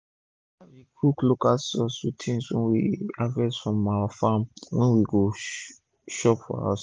my wife dey cook local sauce with things wey we harvest from our farm wey we go chop for house